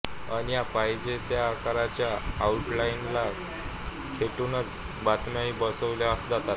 अन या पाहिजे त्या आकाराच्या आऊटलाईनला खेटूनच बातम्याही बसविल्या जातात